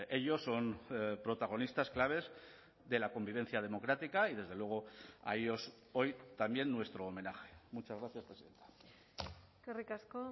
ellos son protagonistas claves de la convivencia democrática y desde luego a ellos hoy también nuestro homenaje muchas gracias eskerrik asko